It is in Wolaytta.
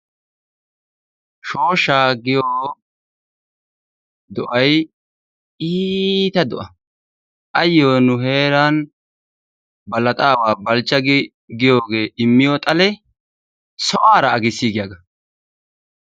Shooshshaa giyo do'ay iita do'a. Ayo nu heeran Balaxxawa Balchcha giyoogee immiyo xalee sohuwaara agiissiigiyagaa.